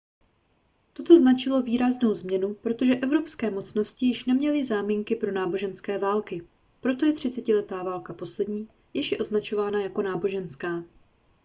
toto značilo výraznou změnu protože evropské mocnosti již neměly záminky pro náboženské války proto je třicetiletá válka poslední jež je označovaná jako náboženská